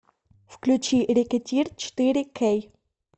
включи рэкетир четыре кей